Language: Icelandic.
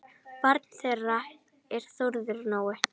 Barn þeirra er Þórður Nói.